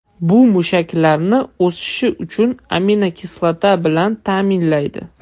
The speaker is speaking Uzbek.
Bu mushaklarni o‘sishi uchun aminokislota bilan ta’minlaydi.